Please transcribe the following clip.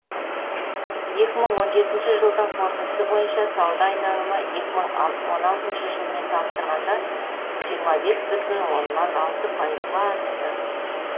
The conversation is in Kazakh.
екі мың он жетінші жылдың қорытындысы бойынша сауда айналымы екі мың он алтыншы жылмен салыстырғанда жиырма бес бүтін оннан алты пайызға артты